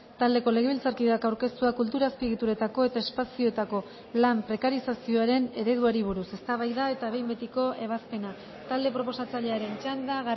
taldeko legebiltzarkideak aurkeztua kultura azpiegituretako eta espazioetako lan prekarizazioaren ereduari buruz eztabaida eta behin betiko ebazpena talde proposatzailearen txanda